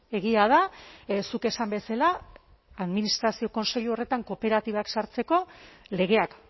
egia da zuk esan bezala administrazio kontseilu horretan kooperatibak sortzeko legeak